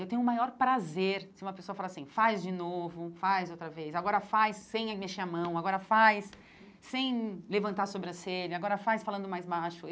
Eu tenho o maior prazer se uma pessoa falar assim, faz de novo, faz outra vez, agora faz sem mexer a mão, agora faz sem levantar a sobrancelha, agora faz falando mais baixo.